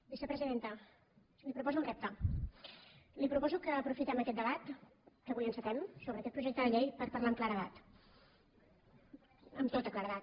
vicepresidenta li proposo un repte li proposo que aprofitem aquest debat que avui encetem sobre aquest projecte de llei per parlar amb claredat amb tota claredat